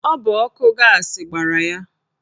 Ọ bụ ọkụ gaasị gbara ya.